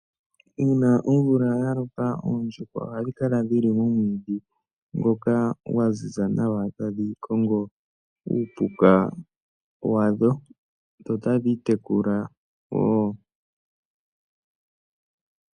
Uuna omvula yaloka oondjuhwa ohadhikala dhili momwiidhi ngoka gwaziza nawa tadhi kongo uupuka wadho dho otadhi itekula wo.